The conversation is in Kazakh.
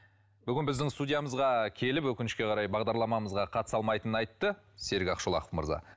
бүгін біздің студиямызға келіп өкінішке қарай бағдарламамызға қатыса алмайтынын айтты серік ақшолақов мырза